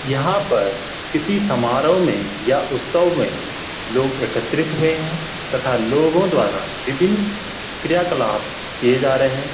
यहाँ पर किसी सम्हारो में या उत्सव में लोग एकत्रित हुए हैं तथा लोगों द्वारा विभिन्न क्रिया कलाप किए जा रहे हैं।